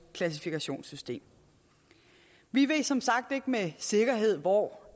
klassifikationssystem vi ved som sagt ikke med sikkerhed hvor